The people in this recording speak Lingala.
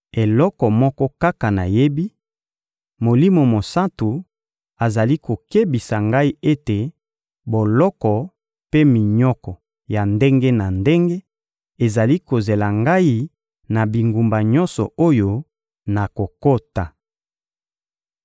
Eloko moko kaka nayebi: Molimo Mosantu azali kokebisa ngai ete boloko mpe minyoko ya ndenge na ndenge ezali kozela ngai na bingumba nyonso oyo nakokota.